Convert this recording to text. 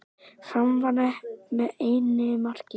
Fram vann með einu marki